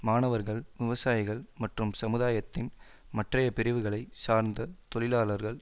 மாணவர்கள் விவசாயிகள் மற்றும் சமுதாயத்தின் மற்றைய பிரிவுகளை சார்ந்த தொழிலாளர்கள்